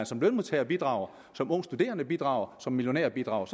som lønmodtager bidrager som ung studerende bidrager og som millionær bidrager